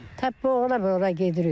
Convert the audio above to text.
Tap boğula-boğula gedirik.